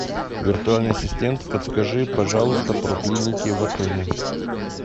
виртуальный ассистент подскажи пожалуйста про клиники в отеле